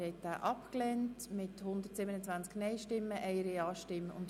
Abstimmung (Art. 137; Antrag Machado Rebmann, Bern [GaP])